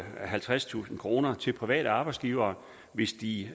halvtredstusind kroner til private arbejdsgivere hvis de